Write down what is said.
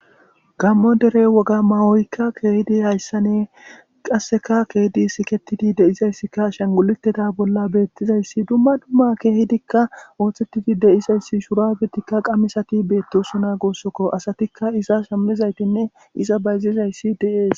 Gaammo dere woga mawoykka dizayssani qassekka ke7idi siketidayssika ashanguluteta bolla betizayssi dumma dumma keehidikka ooththetidi de7izayssi shuraabetikka qamiseti beetosona guussikko. Asatikka iza shamizaytinne bayzizayssi de7ees.